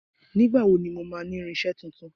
Nígbà wo ni mo máa ní irinsé tuntun?